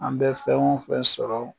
An bɛ fɛn o fɛn sɔrɔ